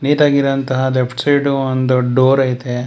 ನಿಟಗಿರೋ ಅಂತಹ left side ಒಂದು door ಐತೆ.